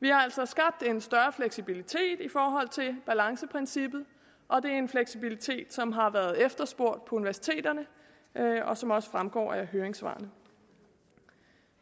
vi har altså skabt en større fleksibilitet i forhold til balanceprincippet og det er en fleksibilitet som har været efterspurgt på universiteterne og som også fremgår af høringssvarene